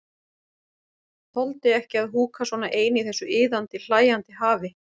Þoldi ekki að húka svona ein í þessu iðandi, hlæjandi hafi.